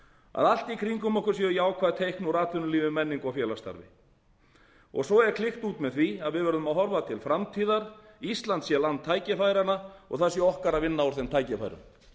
að allt í kringum okkur séu jákvæð teikn úr atvinnulífi menningu og félagsstarfi svo er klykkir út með því að við verðum að horfa til framtíðar ísland sé land tækifæranna og það sé okkar að vinna úr þeim tækifærum